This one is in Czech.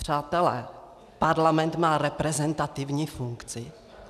Přátelé, parlament má reprezentativní funkci?